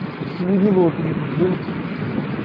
если бы не было таких как вы